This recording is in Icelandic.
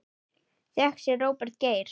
Þökk sé Róberti Geir.